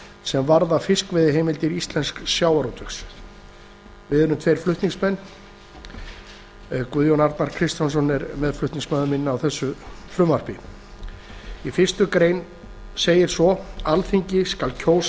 sem varða fiskveiðiheimildir íslensks sjávarútvegs við erum tveir flutningsmenn þessa frumvarps sá sem hér stendur og háttvirtir þingmenn guðjón arnar kristjánsson í fyrstu grein frumvarpsins segir svo alþingi skal kjósa